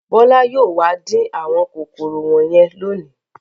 Bọ́lá yóò wá dín àwọn kòkòrò wọ̀nyẹn lónìí.